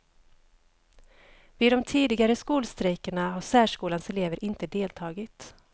Vid de tidigare skolstrejkerna har särskolans elever inte deltagit.